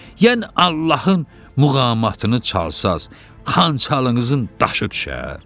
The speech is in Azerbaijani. Yəni Allahın muğamatını çalsanız, xançalınızın daşı düşər?